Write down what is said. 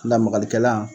Lamagalikɛla